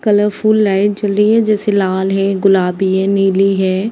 Colourful light जल रही है। जैसे लाल है। गुलाबी है। नीली है।